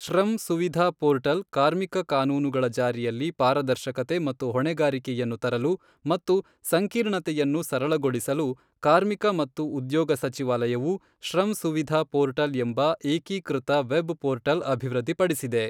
Shram Suvidha portal ಕಾರ್ಮಿಕ ಕಾನೂನುಗಳ ಜಾರಿಯಲ್ಲಿ ಪಾರದರ್ಶಕತೆ ಮತ್ತು ಹೊಣೆಗಾರಿಕೆಯನ್ನು ತರಲು ಮತ್ತು ಸಂಕೀರ್ಣತೆಯನ್ನು ಸರಳಗೊಳಿಸಲು ಕಾರ್ಮಿಕ ಮತ್ತು ಉದ್ಯೋಗ ಸಚಿವಾಲಯವು ಶ್ರಮ್ ಸುವಿಧಾ ಪೋರ್ಟಲ್ ಎಂಬ ಏಕೀಕೃತ ವೆಬ್ ಪೋರ್ಟಲ್ ಅಭಿವೃದ್ಧಿಪಡಿಸಿದೆ.